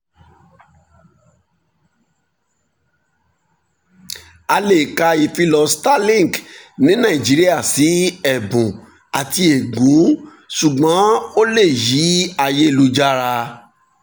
a lè ka ìfilọ starlink ní nàìjíríà sí ẹ̀bùn àti ègún ṣùgbọ́n ó lè yí ayélujára